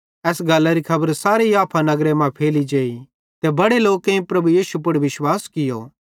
एस गल्लरी खबर सारे याफा नगरे मां फैली जेई ते बड़े लोकेईं प्रभु यीशु पुड़ विश्वास कियो